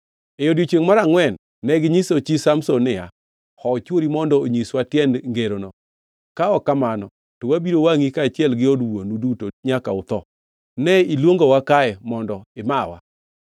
E odiechiengʼ mar angʼwen, neginyiso chi Samson niya, “Hoo chwori mondo onyiswa tiend ngerono, ka ok kamano, to wabiro wangʼi kaachiel gi od wuonu duto nyaka utho. Ne iluongowa kae mondo imawa?”